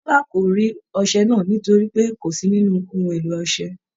Bọla kò rí ọṣẹ náà nítorí pé kó sí nínú ohun èlò ọṣẹ.